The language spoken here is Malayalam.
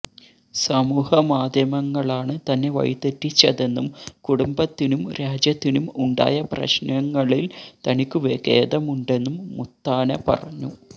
സമൂഹമാധ്യമങ്ങളാണ് തന്നെ വഴിതെറ്റിച്ചതെന്നും കുടുംബത്തിനും രാജ്യത്തിനും ഉണ്ടായ പ്രശ്നങ്ങളില് തനിക്കു ഖേദമുണ്ടെന്നും മുത്താന പറഞ്ഞു